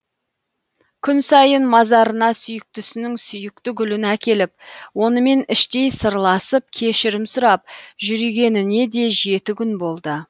күн сайын мазарына сүйіктісінің сүйікті гүлін әкеліп онымен іштей сырласып кешірім сұрап жүргеніне де жеті күн болды